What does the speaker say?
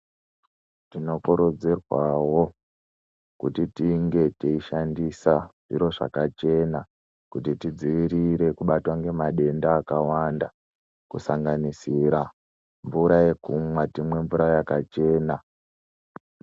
Tinokurudzirwawo kuti tinge teishandisa zviro zvakachena kuti tidzivirire kubatwa ngemadenda akawanda, kusanganisira mvura yekumwa, timwe mvura yakachena.